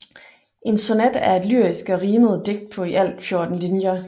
En sonet er et lyrisk og rimet digt på i alt 14 linjer